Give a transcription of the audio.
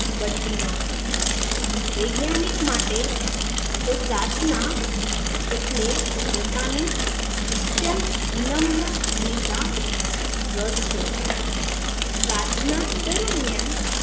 બદલી નાખે વૈજ્ઞાનિક માટે તો પ્રાર્થના એટલે પોતાની અત્યંત વિનમ્ર ભૂમિકા રદ કરવી પ્રાર્થના દરમિયાન